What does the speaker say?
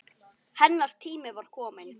Hennar tími var kominn.